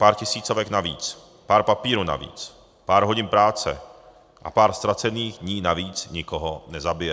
Pár tisícovek navíc, pár papírů navíc, pár hodin práce a pár ztracených dní navíc nikoho nezabije.